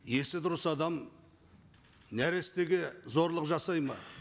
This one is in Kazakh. есі дұрыс адам нәрестеге зорлық жасай ма